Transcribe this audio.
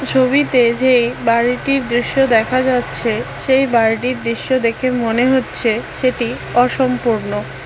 ছবিতে যে বাড়িটির দৃশ্য দেখা যাচ্ছে সেই বাড়িটির দৃশ্য দেখে মনে হচ্ছে সেটি অসম্পূর্ণ।